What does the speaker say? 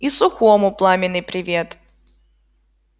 и сухому пламенный привет